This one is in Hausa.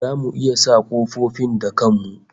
Zamu iya sa kofofin da kan mu?